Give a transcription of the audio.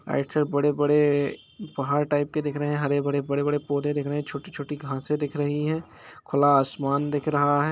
बड़े-बड़े पहाड़ टाइप के दिख रहे है हरे-भरे बड़े पेड़-पौधे दिख रहे है छोटी-छोटी घासे दिख रही है खुला आसमान दिख रहा है।